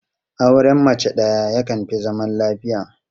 Auren mace ɗaya yakan fi zaman lafiya.